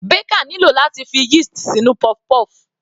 Baker nílò láti fi yeast sínú puff-puff.